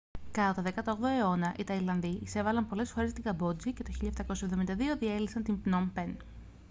κατά τον 18ο αιώνα οι ταϊλανδοί εισέβαλαν πολλές φορές στη καμπότζη και το 1772 διέλυσαν την πνομ πεν